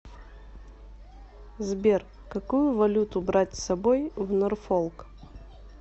сбер какую валюту брать с собой в норфолк